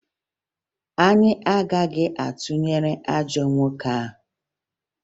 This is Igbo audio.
Anyị agaghị atụnyere ajọ nwoke ahụ